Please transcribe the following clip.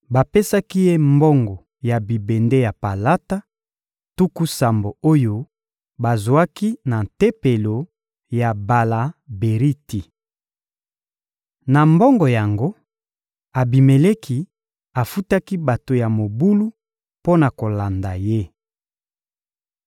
Bapesaki ye mbongo ya bibende ya palata, tuku sambo oyo bazwaki na tempelo ya Bala-Beriti. Na mbongo yango, Abimeleki afutaki bato ya mobulu mpo na kolanda ye.